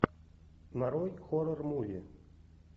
нарой хоррор муви